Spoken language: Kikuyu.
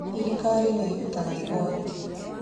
Thirikari nĩ ĩrutaga igooti